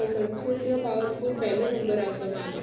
powerful પેલો number આવતો મારતો